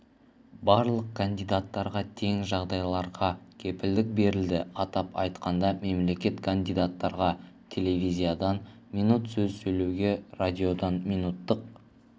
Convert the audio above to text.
барлық кандидаттарға тең жағдайларға кепілдік берілді атап айтқанда мемлекет кандидаттарға телевизиядан минут сөз сөйлеуге радиодан минуттық